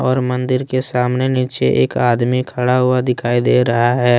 और मंदिर के सामने नीचे एक आदमी खड़ा हुआ दिखाई दे रहा है।